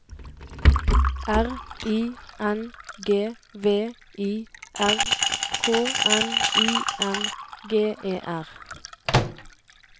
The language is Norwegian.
R I N G V I R K N I N G E R